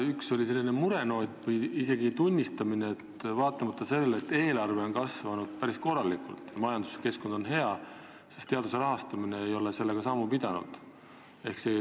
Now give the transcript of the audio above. Üks oli selline murenoot või isegi tunnistamine, et vaatamata sellele, et eelarve on kasvanud päris korralikult ja majanduskeskkond on hea, ei ole teaduse rahastamine sellega sammu pidanud.